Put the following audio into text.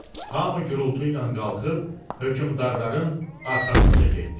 Hamı gurultu ilə qalxıb, hökmdarların arxasınca getdi.